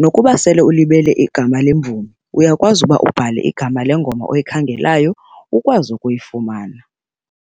nokuba sele ulibele igama lemvumi uyakwazi uba ubhale igama lengoma oyikhangelayo ukwazi ukuyifumana.